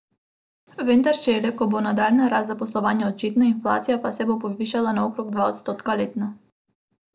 Vendar šele, ko bo nadaljnja rast zaposlovanja očitna, inflacija pa se bo povišala na okrog dva odstotka letno.